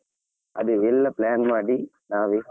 ಅದೇ ಎಲ್ಲಾplan ಮಾಡಿ ನಾವೇ.